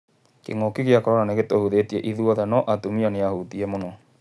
Kĩng'ũki gĩa Korona nĩ gĩtũhutĩtie ithuothe, no atumia nĩ ahutiie mũno.